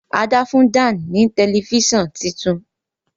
Ada fún Dan ní Tẹlifíṣàn títún.